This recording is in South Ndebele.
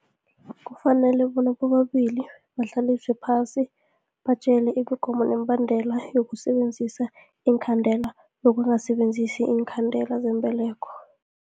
Kufanele bona bobabili bahlaliswe phasi, batjele imigomo nemibandela yokusebenzisa iinkhandela, nokungasebenzisi iinkhandela zembeleko.